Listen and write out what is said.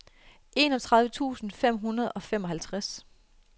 enogtredive tusind fem hundrede og femoghalvtreds